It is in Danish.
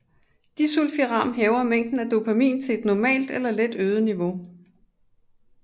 Disulfiram hæver mængden af dopamin til et normalt eller let øget niveau